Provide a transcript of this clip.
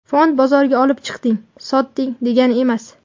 Fond bozoriga olib chiqding, sotding degani emas.